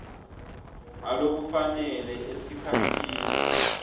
ngalokufanele esikhatsini